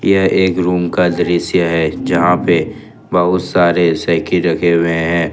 यह एक रूम का दृश्य है जहां पर बहुत सारे साइकिल रखे हुए हैं।